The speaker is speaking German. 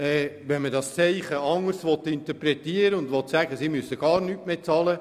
Aber es ist natürlich auch möglich, das anders zu interpretieren und zu sagen, wir wollen gar nichts mehr bezahlen.